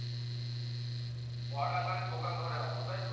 Order মানে দোকান ধরে আনবো তাইতো?